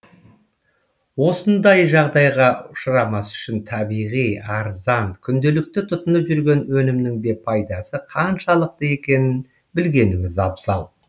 осындай жағдайға ұшырамас үшін табиғи арзан күнделікті тұтынып жүрген өнімнің де пайдасы қаншалықты екенін білгеніміз абзал